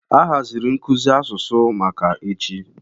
A haziri nkuzi asụsụ maka echi.